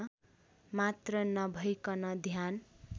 मात्र नभैकन ध्यान